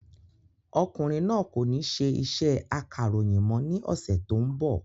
Ọkùnrin náà kò ní ṣe iṣẹ́ akàròyìn mọ́ ní ọ̀sẹ̀ tó ń bọ̀